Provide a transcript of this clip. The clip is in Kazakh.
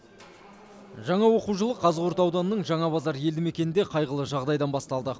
жаңа оқу жылы қазығұрт ауданының жаңабазар елді мекенінде қайғылы жағдайдан басталды